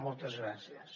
moltes gràcies